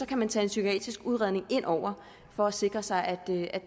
kan man tage en psykiatrisk udredning ind over for at sikre sig at